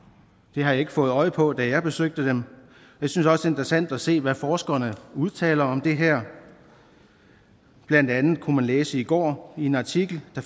det har jeg ikke fået øje på da jeg besøgte dem jeg synes også interessant at se hvad forskerne udtaler om det her blandt andet kunne man læse i går i en artikel at